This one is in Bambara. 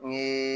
U ye